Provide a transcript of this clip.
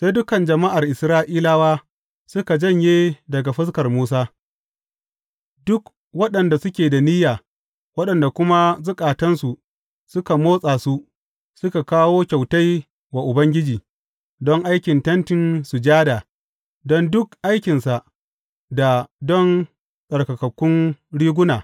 Sai dukan jama’ar Isra’ilawa suka janye daga fuskar Musa, duk waɗanda suke da niyya, waɗanda kuma zukatansu suka motsa su, suka kawo kyautai wa Ubangiji, don aikin Tentin Sujada, don duk aikinsa, da don tsarkakakkun riguna.